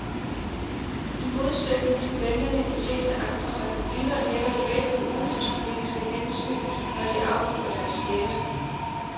I modsætning til vælgerne i de fleste andre republikker lægger de vægt på udenrigspolitiske hensyn, når de afgiver deres stemme.